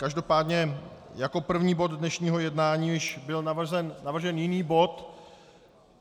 Každopádně jako první bod dnešního jednání již byl navržen jiný bod.